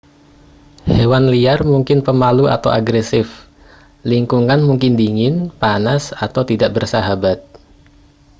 hewan liar mungkin pemalu atau agresif lingkungan mungkin dingin panas atau tidak bersahabat